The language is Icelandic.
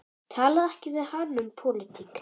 Talaðu ekki við hana um pólitík.